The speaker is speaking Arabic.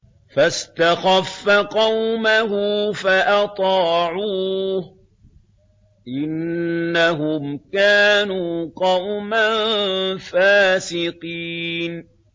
فَاسْتَخَفَّ قَوْمَهُ فَأَطَاعُوهُ ۚ إِنَّهُمْ كَانُوا قَوْمًا فَاسِقِينَ